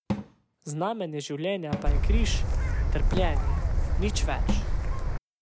Znamenje življenja pa je križ, trpljenje, nič več.